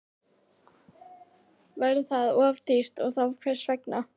Væri það of dýrt og þá hvers vegna?